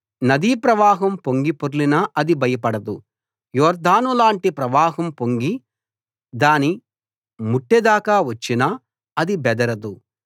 నదీప్రవాహం పొంగి పొర్లినా అది భయపడదు యొర్దాను లాంటి ప్రవాహం పొంగి దాని ముట్టె దాకా వచ్చినా అది బెదరదు